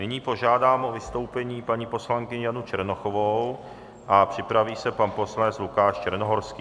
Nyní požádám o vystoupení paní poslankyni Janu Černochovou a připraví se pan poslanec Lukáš Černohorský.